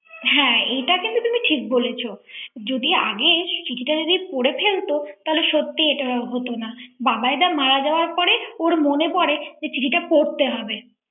হ্যাঁ এইটা কিন্তু তুমি ঠিক বলেছ যদি আগে চিঠিটা যদি পড়ে ফেলতো তাহলে সত্যিই এটা হতো না বাবাইদা মারা যাওয়ার পরে ওর মনে পড়ে যে চিঠিটা পড়তে হবে